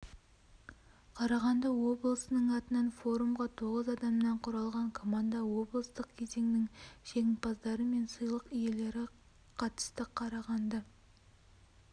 қарағанды обысының атынан форумға тоғыз адамнан құралған команда облыстық кезеңнің жеңімпаздары мен сыйлық иелері қатысты қарағанды